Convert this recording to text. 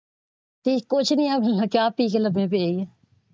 ਜੀ ਕੁਝ ਨਹੀ ਬਸ ਚਾਹ ਪੀ ਕੇ ਲੰਬੇ ਪਏ ਸੀ।